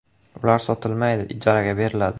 Ular sotilmaydi, ijaraga beriladi.